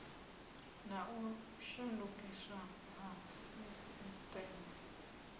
na u shandukiswa ha sisiteme